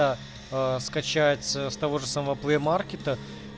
а скачать с того же самого плей маркета